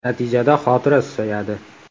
Natijada xotira susayadi.